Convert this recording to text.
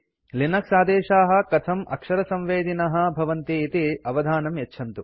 Linux आदेशाः कथं अक्षरसंवेदिनः भवन्ति इति अवधानं यच्छन्तु